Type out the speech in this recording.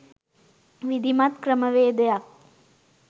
විධිමත් ක්‍රමවේදයක්